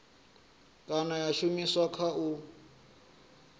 kana ya shumiswa kha u